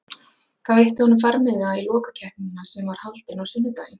Það veitti honum farmiða í lokakeppnina sem var haldin á sunnudaginn.